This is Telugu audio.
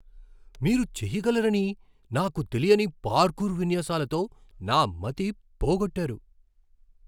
మీరు చేయగలరని నాకు తెలియని పార్కూర్ విన్యాసాలతో నా మతి పోగొట్టారు.